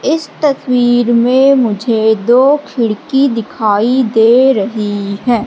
इस तस्वीर में मुझे दो खिड़की दिखाई दे रही हैं।